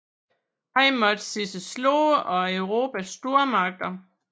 Han måtte se sig slået af Europas stormagter